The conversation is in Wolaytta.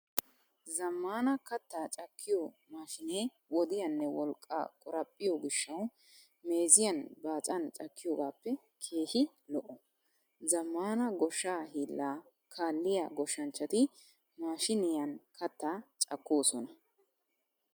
Zammaana Kattaa cakkiyo maashinee wodiyaanne wolqqaa qoraphphiyo gishshawu meeziyan baacan cakkiyogaappe keehi lo'o. Zammaana goshshaa hiillaa kaalliya goshshanchchati maashiniyan Kattaa cakkoosona.